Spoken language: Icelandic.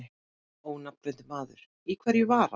Ónafngreindur maður: Í hverju var hann?